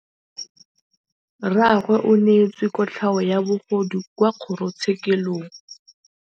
Rragwe o neetswe kotlhaô ya bogodu kwa kgoro tshêkêlông.